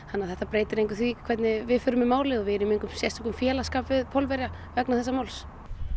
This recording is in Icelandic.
þannig að þetta breytir engu því hvernig við förum í málið og við erum í engum sérstökum félagsskap við Pólverja vegna þessa máls